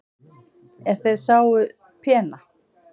er þeir sáu pena